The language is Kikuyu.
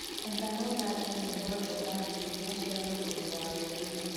etha na ũthake nyĩmbo njega makĩrĩa cĩa muruthi wa weruini